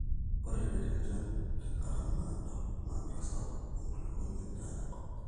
ore tenesha enchan tekata naado na kitasapuk empulunoto endaa enkop